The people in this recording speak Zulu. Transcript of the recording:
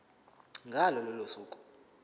ngalo lolo suku